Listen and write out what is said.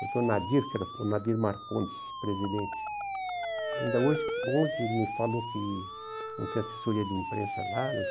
Porque o Nadir, que era o Nadir Marcondes, presidente, ainda hoje hoje ele me falou que não tem assessoria de imprensa lá.